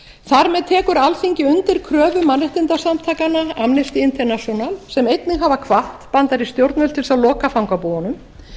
þar með tekur alþingi undir kröfu mannréttindasamtakanna amnesty international sem einnig hafa hvatt bandarísk yfirvöld til að loka fangabúðunum